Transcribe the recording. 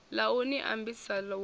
ḽa u ni ambisa walani